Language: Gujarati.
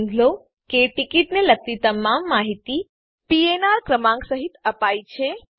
નોંધ લો કે ટીકીટને લગતી તમામ માહિતી પીએનઆર ક્રમાંક સહીત અપાયી છે